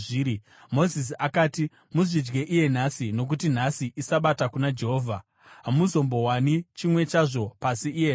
Mozisi akati, “Muzvidye iye nhasi, nokuti nhasi iSabata kuna Jehovha. Hamuzombowani chimwe chazvo pasi iye nhasi.